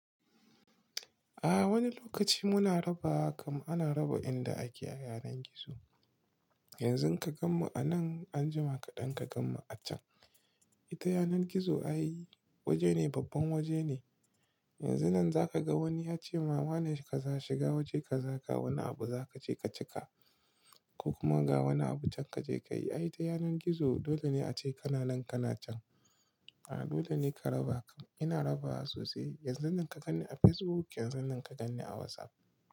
A wani lokaci muna raba, kam ana raba inda ake a yanar gizo. Yanzu ka gan mu a nan, anjima kaɗan ka gan mu a can. Ita yanar gizo ai, waje ne, babban waje ne. Yanzu nan zaka ga wani ya ce "Mama ne ka za shiga waje ka zaka wani abu za ka je ka cika, ko kuma ga wani abu can ka je ka yi." Ai ita yanar gizo, dole ne a ce kana nan kana can. A dole ne ka raba. Ina raba sosai. Yanzu nan ka gan ni a Facebook, yanzu nan ka gan ni a WhatsApp.